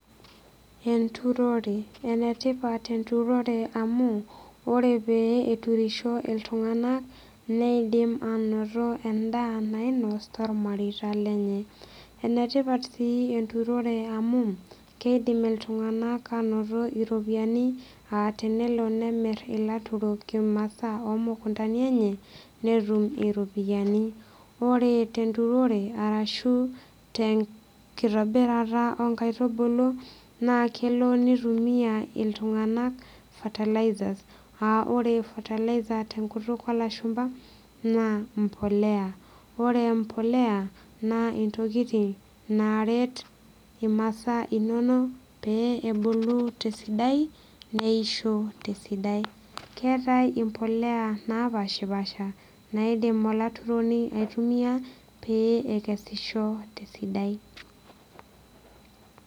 Enturore enetipat enturore amu ore pee eturisho iltung'anak neidim anoto endaa nainos tormareita lenye enetipat sii enturore amu keidim iltung'anak anoto iropiyiani aa tenelo nemirr ilaturok imasaa omukuntani enye netum iropiyiani ore tenturore arashu tenkitobirata onkaitubulu naa kelo nitumiyia iltung'anak fertilizers aa ore fertilizer tenkutuk olashumpa naa mpoleya ore mpoleya naa intokiting naret imasaa pee ebulu tesidai neishu tesidai keetae impoleya napashipasha naidim olaturoni aitumia pee ekesisho tesidai.